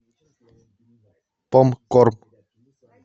попкорн